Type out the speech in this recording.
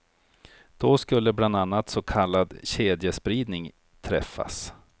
Då skulle bland annat så kallad kedjespridning träffas.